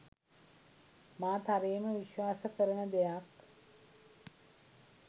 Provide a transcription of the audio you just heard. මා තරයේම විශ්වාස කරන දෙයක්